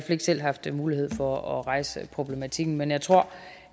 ikke selv haft mulighed for at rejse problematikken men jeg tror